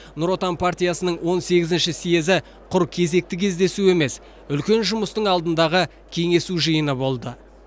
нұр отан партиясының он сегізінші съезі құр кезекті кездесу емес үлкен жұмыстың алдындағы кеңесу жиыны болды